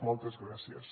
moltes gràcies